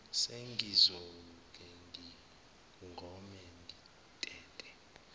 sengizoke ngigone ngitete